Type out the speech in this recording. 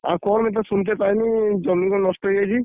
ଆଉ କଣ ବେ ତ ସୁନତେ ପାଇଲି ଜମି କଣ ନଷ୍ଟ ହେଇଯାଇଛି?